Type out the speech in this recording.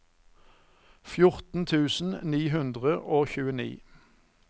fjorten tusen ni hundre og tjueni